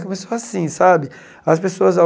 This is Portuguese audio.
Começou assim, sabe? As pessoas